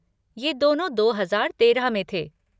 ये दोनों दो हजार तेरह में थे।